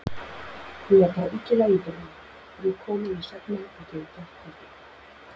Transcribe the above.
Mér brá illilega í brún, er ég kom inn í svefnherbergið í gærkveldi.